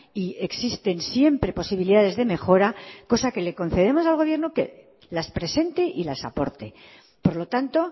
y existen siempre posibilidades de mejora cosa que le concedemos al gobierno que las presente y las aporte por lo tanto